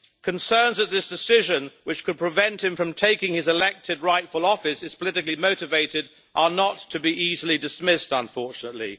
Concerns that this decision, which could prevent him from taking his elected, rightful office, is politically motivated are not to be easily dismissed unfortunately.